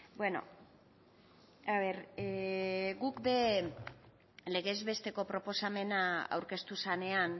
guk ere legez besteko proposamena aurkeztu zenean